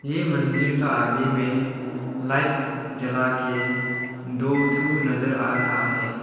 ये मंदिर का आगे में लाइट जला के दो ठो नजर आ रहा है।